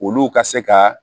Olu ka se ka